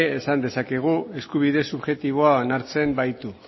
esan dezakegu eskubide subjektiboa onartzen baitu